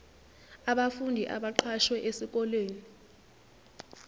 abafundi abaqashwe esikoleni